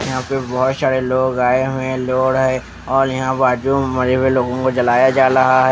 यहाँ पे बहुत शारे लोग आए हुए हैं लोड है और यहाँ बाजू मरे हुए लोगों को जलाया जा लहा है.